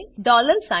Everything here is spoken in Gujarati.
dollar sign